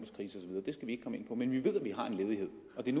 år men vi ved at vi har en ledighed